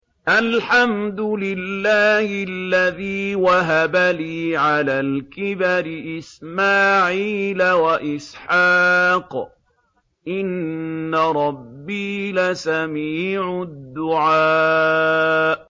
الْحَمْدُ لِلَّهِ الَّذِي وَهَبَ لِي عَلَى الْكِبَرِ إِسْمَاعِيلَ وَإِسْحَاقَ ۚ إِنَّ رَبِّي لَسَمِيعُ الدُّعَاءِ